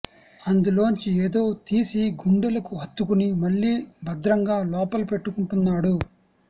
అందులోంచి ఏదో తీసి గుండెలకు హత్తుకుని మళ్లీ భద్రంగా లోపల పెట్టుకుంటున్నాడు